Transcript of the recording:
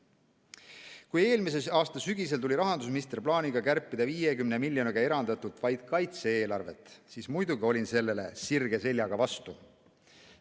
Kui eelmise aasta sügisel tuli rahandusminister plaaniga kärpida 50 miljonit eranditult vaid kaitse-eelarvest, siis muidugi olin sellele sirge seljaga vastu.